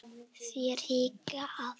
Þér hikið?